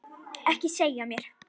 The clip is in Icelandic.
Ekki segja mér,